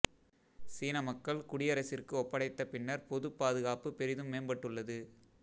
சீன மக்கள் குடியரசிற்கு ஒப்படைத்த பின்னர் பொது பாதுகாப்பு பெரிதும் மேம்பட்டுள்ளது